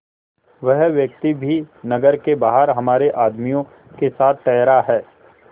वह व्यक्ति भी नगर के बाहर हमारे आदमियों के साथ ठहरा है